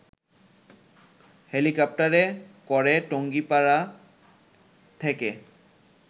হেলিকপ্টারে করে টঙ্গিপাড়া থেকে